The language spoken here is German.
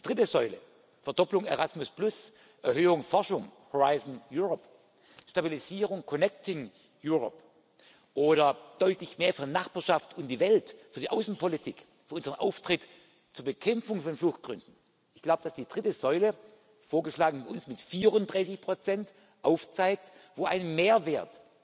sein. Die dritte Säule Verdopplung Erasmus, Erhöhung Forschung, Horizon Europe, Stabilisierung, Connecting Europe oder deutlich mehr für Nachbarschaft und die Welt, für die Außenpolitik, für unseren Auftritt zur Bekämpfung von Fluchtgründen ich glaube, dass die dritte Säule vorgeschlagen von uns mit 34 aufzeigt, wo ein Mehrwert